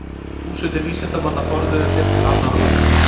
Þúsundir vísindamanna forðuðu sér til annarra landa.